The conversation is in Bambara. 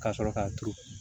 Ka sɔrɔ ka turu